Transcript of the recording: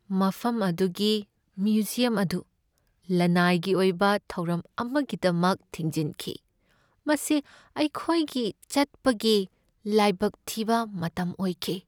ꯃꯐꯝ ꯑꯗꯨꯒꯤ ꯃ꯭ꯌꯨꯖꯤꯌꯝ ꯑꯗꯨ ꯂꯅꯥꯏꯒꯤ ꯑꯣꯏꯕ ꯊꯧꯔꯝ ꯑꯃꯒꯤꯗꯃꯛ ꯊꯤꯡꯖꯤꯟꯈꯤ, ꯃꯁꯤ ꯑꯩꯈꯣꯏꯒꯤ ꯆꯠꯄꯒꯤ ꯂꯥꯏꯕꯛ ꯊꯤꯕ ꯃꯇꯝ ꯑꯣꯏꯈꯤ꯫